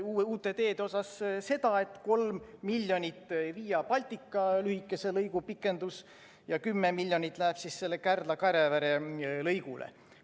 Noh, uute teede puhul seda, et 3 miljonit Via Baltica lühikese lõigu pikenduseks ja 10 miljonit läheb Kardla–Kärevere lõigule.